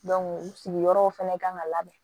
sigiyɔrɔw fɛnɛ kan ka labɛn